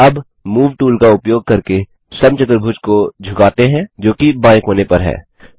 अब move tool का उपयोग करके समचतुर्भुज को झुकाते हैं जो कि बायें कोने पर है